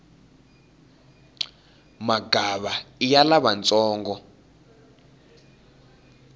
magava iya lavantsongo